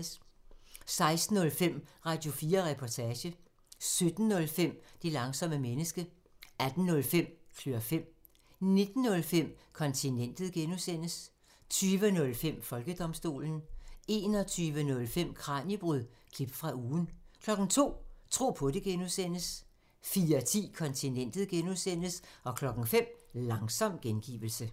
16:05: Radio4 Reportage 17:05: Det langsomme menneske 18:05: Klør fem 19:05: Kontinentet (G) 20:05: Folkedomstolen 21:05: Kraniebrud – klip fra ugen 02:00: Tro på det (G) 04:10: Kontinentet (G) 05:00: Langsom gengivelse